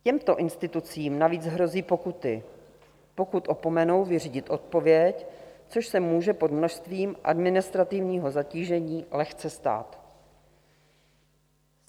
Těmto institucím navíc hrozí pokuty, pokud opomenou vyřídit odpověď, což se může pod množstvím administrativního zatížení lehce stát.